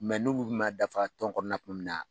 n'u kun kun man dafa tɔn kɔnɔna